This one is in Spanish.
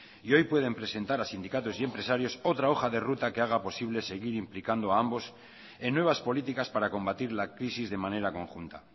y hoy pueden presentar a sindicatos y empresarios otra hoja de ruta que haga posible seguir implicando a ambos en nuevas políticas para combatir la crisis de manera conjunta